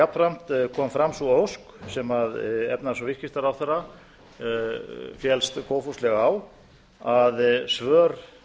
jafnframt kom fram sú ósk sem efnahags og viðskiptaráðherra féllst góðfúslega á að svör